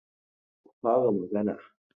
Ku fara magana!